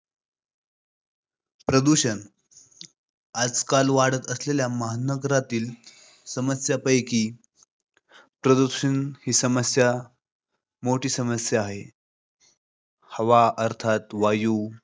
प्रदूषण. आजकाल वाढत असलेल्या महानगरातील समस्या पैकी प्रदूषण ही सर्वात मोठी समस्या आहे. हवा अर्थात वायु